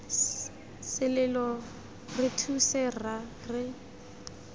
selelo re thuse rra re